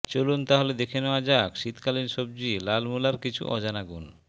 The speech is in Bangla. চলুন তাহলে দেখে নেওয়া যাক শীতকালীন সবজি লাল মুলার কিছু অজানা গুণ